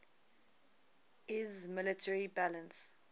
iiss military balance